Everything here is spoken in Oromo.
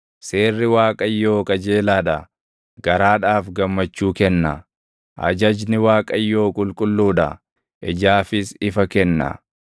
Seerri Waaqayyoo qajeelaa dha; garaadhaaf gammachuu kenna. Ajajni Waaqayyoo qulqulluu dha; ijaafis ifa kenna.